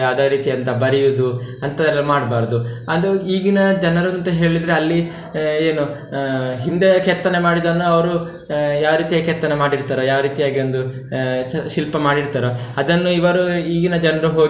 ಯಾವ್ದೋ ರೀತಿ ಅಂತ ಬರಿಯುವುದು ಅಂತದೆಲ್ಲ ಮಾಡ್ಬಾರ್ದು, ಅದು ಈಗಿನ ಜನರ ಜೊತೆ ಹೇಳಿದ್ರೆ ಅಲ್ಲಿ ಏನು ಹಿಂದೆ ಕೆತ್ತನೆ ಮಾಡಿದ್ದನ್ನು ಅವ್ರು ಯಾವ ರೀತಿಯ ಕೆತ್ತನೆ ಮಾಡಿರ್ತಾರೋ, ಯಾವ ರೀತಿ ಆಗಿ ಒಂದು ಶಿಲ್ಪ ಮಾಡಿರ್ತರೋ ಅದನ್ನು ಇವರು ಈಗಿನ ಜನ್ರು ಹೋಗಿ.